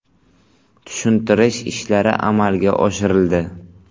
Tushuntirish ishlari amalga oshirildi.